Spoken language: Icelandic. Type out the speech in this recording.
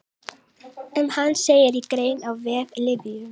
Um hann segir í grein á vef Lyfju.